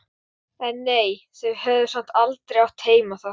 En nei, þau höfðu samt aldrei átt heima þar.